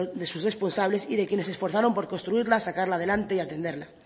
de sus responsables y de quienes se esforzaron por construirla sacarla adelante y atenderla